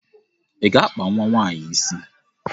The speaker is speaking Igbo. I ga-akpa nwa nwaanyi isi!